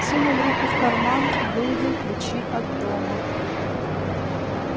сунул руку в карман выудил ключи от дома